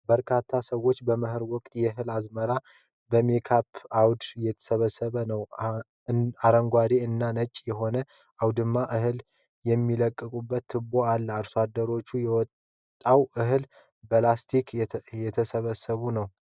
በርካታ ሰዎች በመኸር ወቅት የእህል አዝመራ በሜካናይዝድ አውድማ እየሰበሰቡ ነው። አረንጓዴ እና ነጭ የሆነው አውድማ እህል የሚለቅቅበት ቱቦ አለው። አርሶ አደሮች የወጣውን እህል በላስቲክ እየሰበሰቡ ነው።